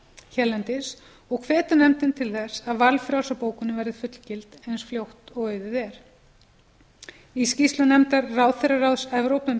hérlendis og hvetur nefndin til þess að valfrjálsa bókunin verði fullgilt eins fljótt og auðið er í skýrslu nefndar ráðherraráðs evrópu um